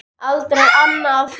Aldrei annað.